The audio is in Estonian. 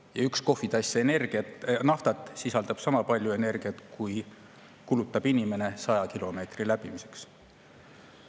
Ja üks kohvitass naftat sisaldab sama palju energiat, kui kulutab inimene 100 kilomeetri läbimiseks.